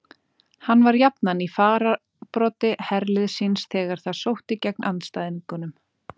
Hann var jafnan í fararbroddi herliðs síns þegar það sótti gegn andstæðingunum.